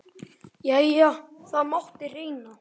Jæja, það mátti reyna.